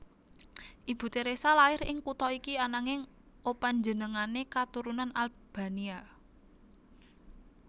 Ibu Theresa lair ing kutha iki ananging opanjenengané katurunan Albania